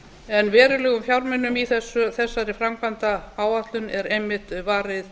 byggingariðnaði verulegum fjármunum í þessari framkvæmdaáætlun er einmitt varið